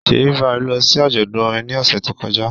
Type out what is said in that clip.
Ṣèyí Vibez lọ sí àjọ̀dún orin ní ọ̀sẹ̀ tó kọjá